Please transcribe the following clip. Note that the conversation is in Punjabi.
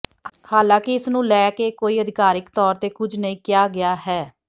ਹਾਲਾਂਕਿ ਇਸ ਨੂੰ ਲੈ ਕੇ ਕੋਈ ਆਧਿਕਾਰਿਕ ਤੌਰ ਤੇ ਕੁੱਝ ਨਹੀਂ ਕਿਹਾ ਗਿਆ ਹੈ